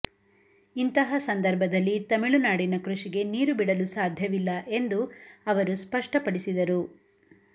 ಇಂತಹ ಸಂದರ್ಭದಲ್ಲಿ ತಮಿಳುನಾಡಿನ ಕೃಷಿಗೆ ನೀರು ಬಿಡಲು ಸಾಧ್ಯವಿಲ್ಲ ಎಂದು ಅವರು ಸ್ಪಷ್ಟ ಪಡಿಸಿದರು